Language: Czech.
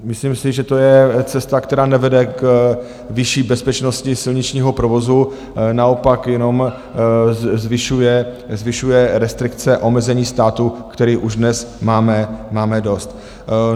Myslím si, že to je cesta, která nevede k vyšší bezpečnosti silničního provozu, naopak jenom zvyšuje restrikce, omezení státu, kterých už dnes máme dost.